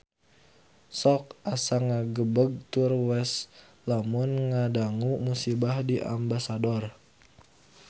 Sok asa ngagebeg tur waas lamun ngadangu musibah di Ambasador